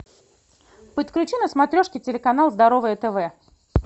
подключи на смотрешке телеканал здоровое тв